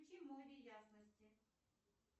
включи море ясности